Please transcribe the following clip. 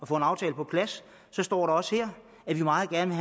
få en aftale på plads står der også her at vi meget gerne